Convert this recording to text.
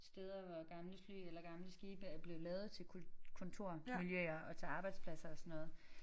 Steder hvor gamle fly eller gamle skibe er blevet lavet til kontormiljøer og til arbejdspladser og sådan noget